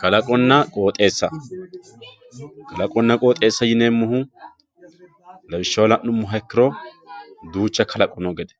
kalaqonna qoxeessa kalaqonna qoxeessa yineemmohu lawishshaho la'nummoha ikkiro duucha kalaqo noo gede